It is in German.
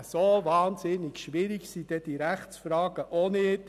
So unglaublich schwierig sind diese Rechtsfragen nun auch wieder nicht.